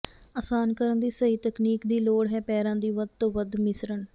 ਅਸਾਨ ਕਰਨ ਦੀ ਸਹੀ ਤਕਨੀਕ ਦੀ ਲੋੜ ਹੈ ਪੈਰਾਂ ਦੀ ਵੱਧ ਤੋਂ ਵੱਧ ਮਿਸ਼ਰਣ